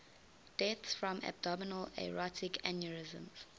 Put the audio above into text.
deaths from abdominal aortic aneurysm